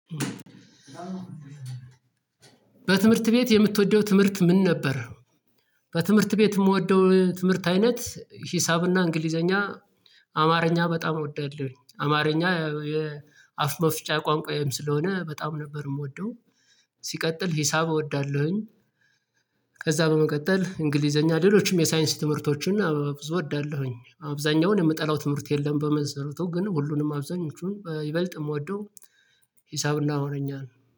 በትምህርት ቤት የምትወደው ትምህርት ምን ነበር? በትምህርት ቤት የምወደው ትምህርት አይነት ሂሳብና እንግሊዘኛ፣ አማርኛ በጣም እወዳለሁኝ አማርኛ የአፍ መፍጫ ቋንቋዬም ስለሆነ በጣም ነበር የምወደው። ሲቀጥል ሂሳብ እወዳለሁኝ። ከዛ በመቀጠል እንግሊዘኛ ሌሎችም የሳይንስ ትምህርቶችን ብዙ እወዳለሁኝ አብዛኛውን የምጠላው ትምህርት የለም በመንሰረቱ ግን ሁሉንም አብዛኞቹን ይበልጥ የምወደው። ሂሳብና አማርኛ ነው።